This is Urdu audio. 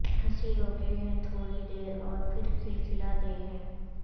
ہنسی روکے ہے تھوڑی دیر اور پھر کھلکھلا دے ہے